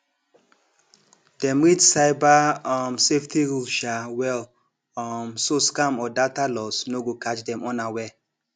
dem read cyber um safety rules um well um so scam or data loss no go catch dem unaware